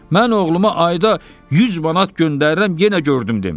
Mən oğluma ayda 100 manat göndərirəm, yenə gördüm demir.